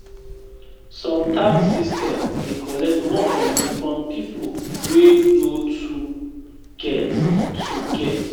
Some tax system dey collect more money from pipo wey no too get too get